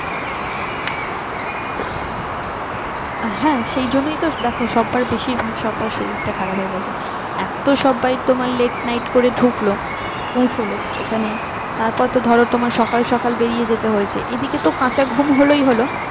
হ্যাঁ সেই জন্যই তো দেখো সব্বার বেশিরভাগ সবার শরীরটা খারাপ হয়ে গেছে এত সবাই তোমার late night করে ঢুকল পৌঁছল এখানে তারপর তো ধরো তোমার সকাল সকাল বেরিয়ে যেতে হয়েছে এদিকে তো কাঁচা ঘুম হলোই হলো